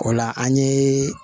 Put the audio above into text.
O la an ye